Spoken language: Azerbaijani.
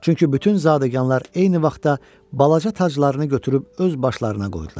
Çünki bütün zadəganlar eyni vaxtda balaca taclarını götürüb öz başlarına qoydular.